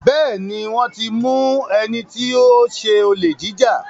Béèni wón tí mú wón tí mú ẹní tí o ṣe Olè jíjà.